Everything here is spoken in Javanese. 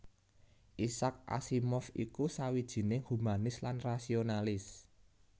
Isaac Asimov iku sawijining humanis lan rasionalis